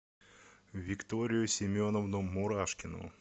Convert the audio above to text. викторию семеновну мурашкину